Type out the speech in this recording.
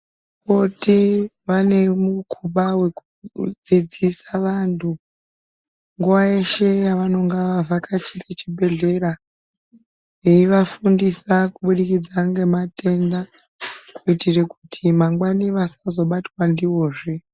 Vakoti vanemukhumba wekudzidzisa vantu nguwa yeshe yavanenge vavhakachira chibhedhlera, veyivafundisa kubudikidza ngematenda kuitira kuti mangwani vasazobatwa ndiwozve.